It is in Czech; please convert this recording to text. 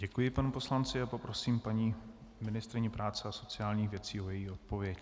Děkuji panu poslanci a poprosím paní ministryni práce a sociálních věcí o její odpověď.